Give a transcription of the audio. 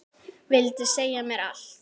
Vildi segja mér allt.